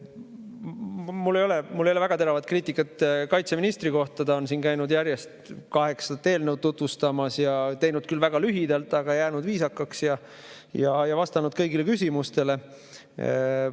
Mul ei ole väga teravat kriitikat kaitseministri kohta, ta on siin käinud järjest kaheksat eelnõu tutvustamas ja on teinud küll väga lühidalt, aga on jäänud viisakaks ja vastanud kõigile küsimustele.